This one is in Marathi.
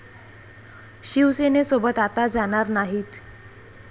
शिवसेनेसोबत आता जाणार नाहीत.